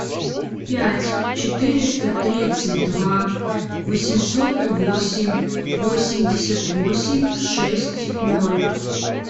пять четыреста тридцать два восемьсот восемь восемьдесят восемь шесть ноль